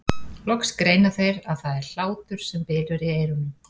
Loks greina þeir að það er hlátur sem bylur í eyrunum.